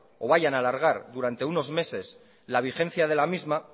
o vayan a alargar durante unos meses la vigencia de la misma